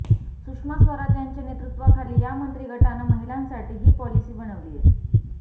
सुषमा स्वराज यांच्या नेतृत्वाखाली या मंत्रीगटानं महिलांसाठी ही पॉलिसी बनवलीय